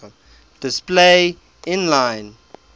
display inline